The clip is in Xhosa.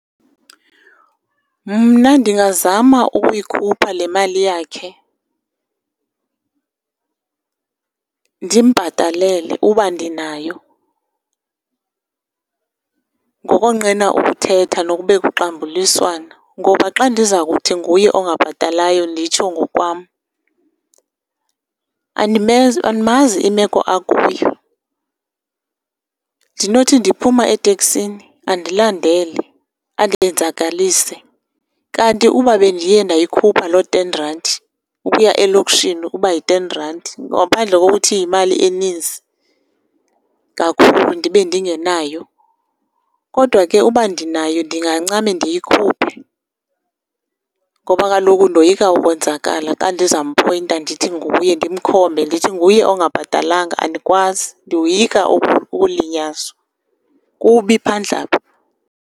Mna ndingazama ukuyikhupha le mali yakhe ndimbhatalele uba ndinayo ngokonqena ukuthetha nokube kuxambuliswana. Ngoba, xa ndiza kuthi nguye ongabhatalayo, nditsho ngokwam, andimazi imeko akuyo. Ndinothi ndiphuma eteksini andilandele andenzakalise, kanti ukuba bendiye ndayikhupha loo ten randi, ukuya elokishini ukuba yi-ten randi, ngaphandle kokuthi yimali eninzi kakhulu ndibe ndingenayo. Kodwa ke uba ndinayo ndingancame ndiyikhuphe ngoba kaloku ndoyika ukonzakala, xa ndizampoyinta ndithi nguye, ndimkhombe ndithi nguye ongabhatalanga, andikwazi. Ndoyika ukulinyazwa, kubi phandle apha.